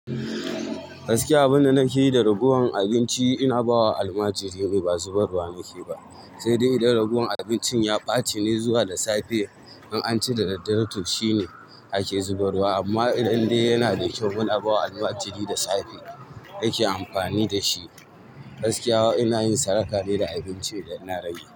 Gaskiya abunda nakeyi da ragowan abinci ina bawa almajirai ne, bazu barwa nakeyi ba, sai dai idan raguwan abincin ya ɓacine zuwa da safe. In ance da daddare to shine ake zuba ruwa amma idan dai yana da kyau muna bawa almajiri da safe yake amfani da shi. Gaskiya ina yin sadaka ne da abinci idan na rage.